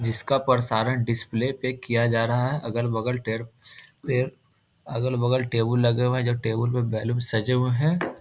जिसका प्रसारण डिस्प्ले पे किया जा रहा है अगल-बगल अगल-बगल टेबुल लगे हुए है जो टेबुल में बैलून सजे हुए है।